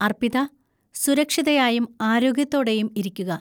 അർപ്പിത, സുരക്ഷിതയായും ആരോഗ്യത്തോടെയും ഇരിക്കുക.